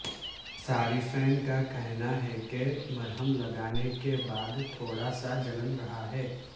صارفین کا کہنا ہے کہ مرہم لگانے کے بعد تھوڑا سا جلن رہا ہے